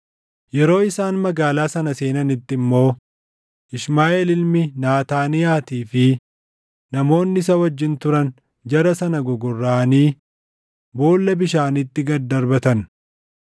Yeroo isaan magaalaa sana seenanitti immoo Ishmaaʼeel ilmi Naataaniyaatii fi namoonni isa wajjin turan jara sana gogorraʼanii boolla bishaaniitti gad darbatan.